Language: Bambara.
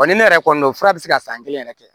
Wa ni ne yɛrɛ kɔni fura bɛ se ka san kelen yɛrɛ kɛ